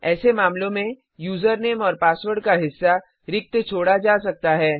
ऐसे मामलों में यूज़रनेम और पासवर्ड का हिस्सा रिक्त छोड़ा जा सकता है